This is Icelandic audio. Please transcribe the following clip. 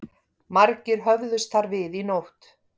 Margir höfðust þar við í nótt